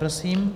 Prosím.